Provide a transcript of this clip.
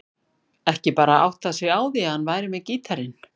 Ekki bara áttað sig á því að hann var með gítarinn.